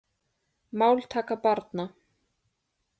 Máltaka barna.